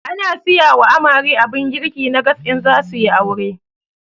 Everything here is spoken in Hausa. Ana siyawa amare abun girki na gas in zasuyi aure